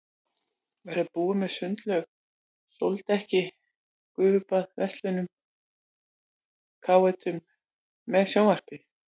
Verður hún með sundlaug, sóldekki, gufubaði, verslunum og káetum með sjónvarpi.